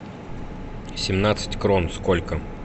семнадцать крон сколько